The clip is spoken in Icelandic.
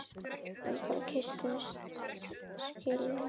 Við bara kysstumst að skilnaði.